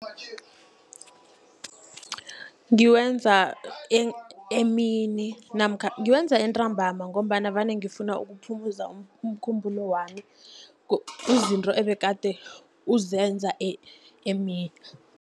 Ngiwenza emini namkha ngiwenza entambama, ngombana vane ngifuna ukuphumuza umkhumbulo wami izinto ebegade uzenza emini.